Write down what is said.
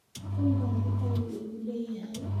Deen badan ayuu igu leeyahay